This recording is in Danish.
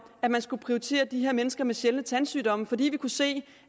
at man skulle prioritere de her mennesker med sjældne tandsygdomme fordi vi kunne se